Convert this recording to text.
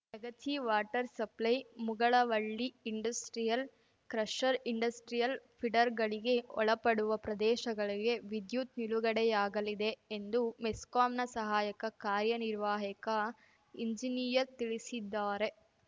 Yagachi water supply Mugalavalli industrial crusher industrial ಫಿಡರ್‌ಗಳಿಗೆ ಒಳಪಡುವ ಪ್ರದೇಶಗಳಿಗೆ ವಿದ್ಯುತ್‌ ನಿಲುಗಡೆಯಾಗಲಿದೆ ಎಂದು ಮೆಸ್ಕಾಂನ ಸಹಾಯಕ ಕಾರ್ಯನಿರ್ವಾಹಿಕ ಎಂಜಿನಿಯರ್‌ ತಿಳಿಸಿದ್ದಾರೆ